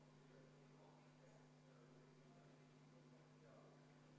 Sellest tulenevalt võiks teha kunagi, võib-olla aasta või paari pärast teise proovi.